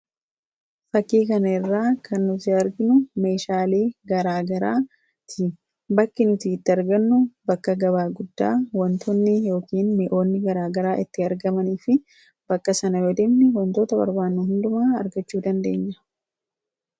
Fakkii kana irraa kan nuti arginu meeshaalee garaa garaati. Bakki nuti itti argannu bakka gabaa guddaa wantootni garaa garaa itti argamanii fi bakka sana yoo deemne wantoota barbaannu hundumaa argachuu dandeenya.